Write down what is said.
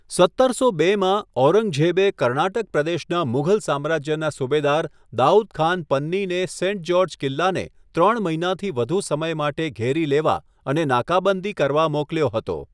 સત્તરસો બેમાં, ઔરંગઝેબે કર્ણાટક પ્રદેશના મુગલ સામ્રાજ્યના સુબેદાર દાઉદ ખાન પન્નીને સેન્ટ જ્યોર્જ કિલ્લાને ત્રણ મહિનાથી વધુ સમય માટે ઘેરી લેવા અને નાકાબંધી કરવા મોકલ્યો હતો.